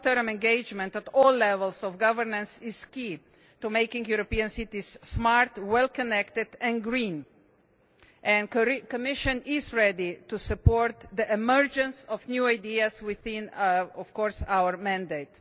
Long term engagement at all levels of governance is key to making European cities smart, well connected and green, and the Commission is ready to support the emergence of new ideas within our mandate.